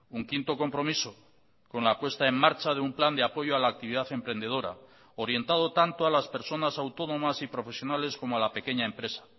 un quinto compromiso con la puesta en marcha de un plan de apoyo a la actividad emprendedora orientado tanto a las personas autónomas y profesionales como a la pequeña empresa